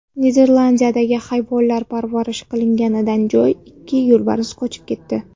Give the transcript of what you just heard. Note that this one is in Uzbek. Niderlandiyadagi hayvonlar parvarish qilinadigan joydan ikki yo‘lbars qochib ketdi.